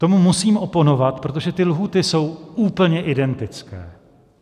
Tomu musím oponovat, protože ty lhůty jsou úplně identické.